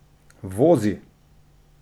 Vozi!